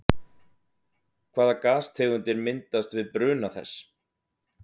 Hvaða gastegundir myndast við bruna þess?